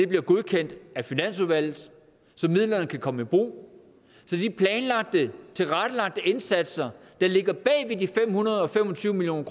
bliver godkendt af finansudvalget så midlerne kan komme i brug så de planlagte tilrettelagte indsatser der ligger bag de fem hundrede og fem og tyve million